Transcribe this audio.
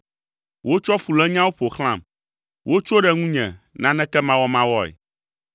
Wotsɔ fulényawo ƒo xlãm; wotso ɖe ŋunye nanekemawɔmawɔe.